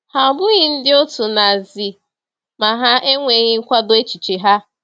Ha abụghị ndị otu Nazi ma ha ejweghị nkwado echiche ha.